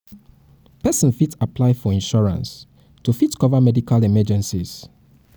person fit apply for insurance to fit cover medical emergencies